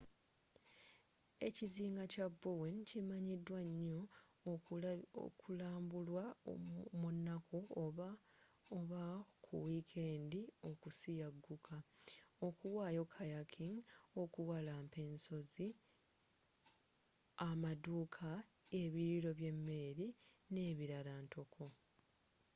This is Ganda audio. ekizinga kya bowen kimanyidwa nyoo okulambulwa munaku oba ku wiikendi okusiyagguka okuwayo kayaking okuwalampa ensozi amaduuka ebiriiro by'emmere nebirala ntoko